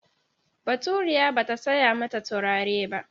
Baturiya ba ta saya mata turare ba.